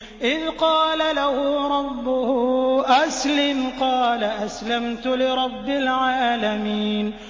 إِذْ قَالَ لَهُ رَبُّهُ أَسْلِمْ ۖ قَالَ أَسْلَمْتُ لِرَبِّ الْعَالَمِينَ